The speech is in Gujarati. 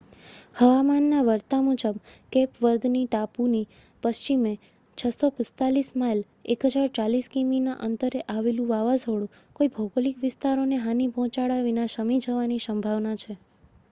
હવામાનના વર્તા મુજબ કેપ વર્દ ટાપુની પશ્ચિમે 645 માઇલ 1,040 કિમીના અંતરે આવેલું વાવાઝોડું કોઈ ભૌગોલિક વિસ્તારોને હાનિ પહોંચાડ્યા વિના શમી જવાની સંભાવના છે